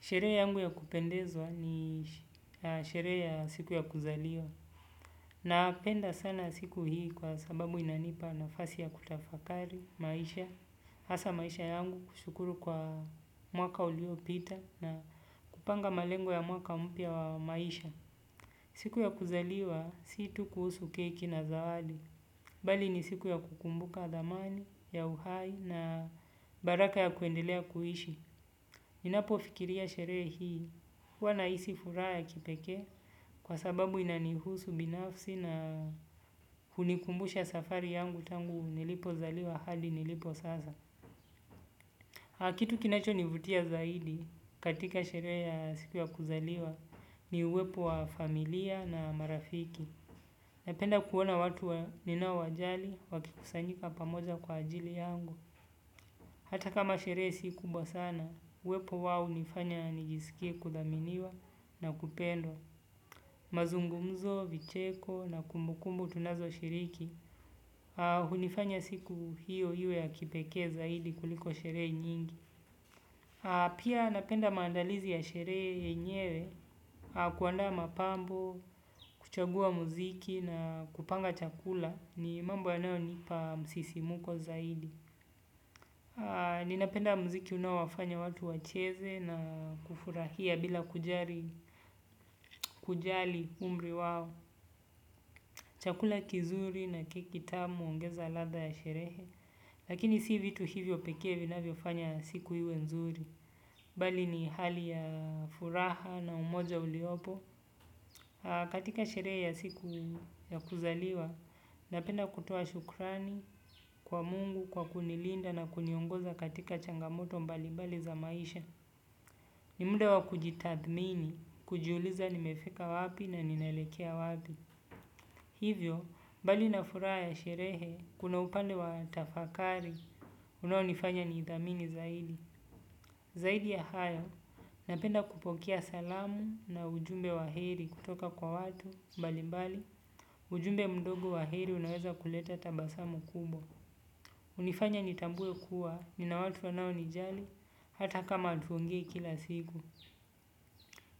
Sherehe yangu ya kupendezwa ni sherehe ya siku ya kuzaliwa. Na penda sana siku hii kwa sababu inanipa nafasi ya kutafakari, maisha. Hasa maisha yangu kushukuru kwa mwaka ulio pita na kupanga malengo ya mwaka mpya wa maisha. Siku ya kuzaliwa, si tu kuhusu keki na zawadi. Bali ni siku ya kukumbuka dhamani ya uhai na baraka ya kuendelea kuishi. Ninapo fikiria sherehe hii, huwa nahisi furaha ya kipeke kwa sababu inanihusu binafsi na kunikumbusha safari yangu tangu nilipo zaliwa hadi nilipo sasa. Kitu kinacho nivutia zaidi katika sherehe ya siku ya kuzaliwa ni uwepo wa familia na marafiki. Napenda kuona watu wa ninao wajali wakikusanyika pamoja kwa ajili yangu. Hata kama sherehe si kubwa sana, uwepo wao hunifanya nijisikie kudhaminiwa na kupendwa. Mazungumzo, vicheko na kumbukumbu tunazo shiriki, hunifanya siku hiyo iwe ya kipekee zaidi kuliko sherehe nyingi. Pia napenda mandalizi ya sherehe yenyewe, kuanda mapambo, kuchagua muziki na kupanga chakula, ni mambo yanayo nipa msisimuko zaidi. Ninapenda mziki unaowafanya watu wacheze na kufurahia bila kujali umri wao. Chakula kizuri na keki tamu huongeza ladha ya sherehe. Lakini si vitu hivyo pekee vinavyo fanya siku iwe nzuri. Bali ni hali ya furaha na umoja uliopo. Katika sherehe ya siku ya kuzaliwa napenda kutoa shukrani kwa mungu kwa kunilinda na kuniongoza katika changamoto mbali bali za maisha. Ni muda wa kujitathmini, kujiuliza nimefika wapi na ninaelekea wapi. Hivyo, bali na furaha ya sherehe, kuna upande wa tafakari, unaonifanya ni idhamini zaidi. Zaidi ya hayo, napenda kupokea salamu na ujumbe wa heri kutoka kwa watu, mbali mbali, ujumbe mdogo wa heri unaweza kuleta tabasamu kubwa. Hunifanya nitambue kuwa, nina watu wanao nijali, hata kama hatuongei kila siku.